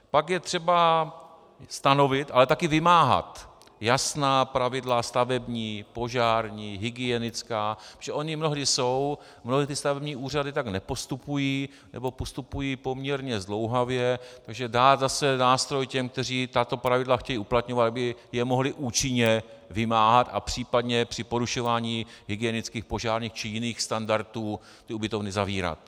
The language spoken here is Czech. Pak je třeba stanovit, ale taky vymáhat jasná pravidla stavební, požární, hygienická, protože ona mnohdy jsou, mnohé ty stavební úřady tak nepostupují, nebo postupují poměrně zdlouhavě, takže dát zase nástroj těm, kteří tato pravidla chtějí uplatňovat, aby je mohli účinně vymáhat a případně při porušování hygienických, požárních či jiných standardů ty ubytovny zavírat.